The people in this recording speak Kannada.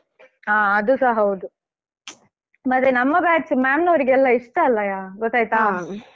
ಹಾ ಅದುಸ ಹೌದು ಮಾತ್ರ ನಮ್ಮ batch ma'am ನವರಿಗೆ ಎಲ್ಲಾ ಇಷ್ಟ ಅಲ್ಲಯಾ ಗೊತ್ತಾಯ್ತಾ?